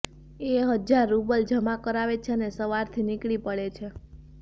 એ હજાર રૂબલ જમા કરાવે છે અને સવારથી નીકળી પડે છે